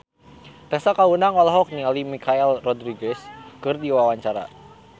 Tessa Kaunang olohok ningali Michelle Rodriguez keur diwawancara